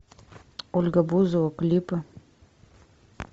ольга бузова клипы